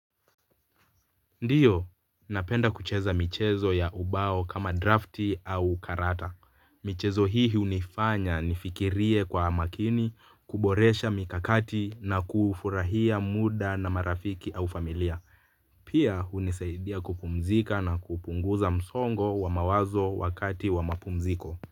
Ndio napenda kucheza michezo ya ubao kama draft au karata. Michezo hii hunifanya nifikirie kwa makini, kuboresha mikakati na kufurahia muda na marafiki au familia. Pia hunisaidia kupumzika na kupunguza msongo wa mawazo wakati wa mapumziko.